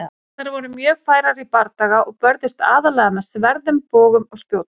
Þær voru mjög færar í bardaga og börðust aðallega með sverðum, bogum og spjótum.